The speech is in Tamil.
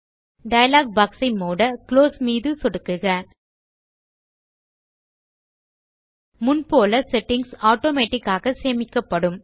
டயலாக் பாக்ஸ் ஐ மூட குளோஸ் மீது சொடுக்குக முன் போல் செட்டிங்ஸ் ஆட்டோமேட்டிக் ஆக சேமிக்கப்படும்